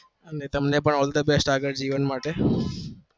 મી તમને પણ all the best આગળ જીવન માટે